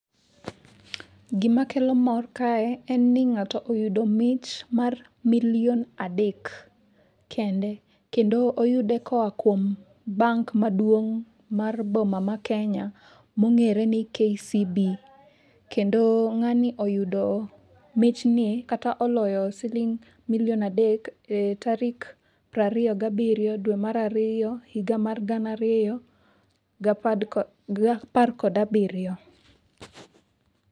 Gimakelo mor kae en ni ng'ato oyudo mich mar milion adek kende kendo oyude koa kuom bank maduong' mar boma ma Kenya mong'ere ni KCB kendo ng'ani oyudo michni kata oloyo siling' milion adek e tarik prariyo gabiriyo dwe mar ariyo higa mar gana ariyo gi apar kod abiriyo.